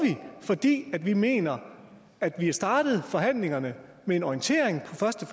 fordi vi mener at vi er startet forhandlingerne med en orientering på første